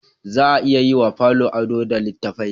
Za a iya yi wa falo ado da littattafai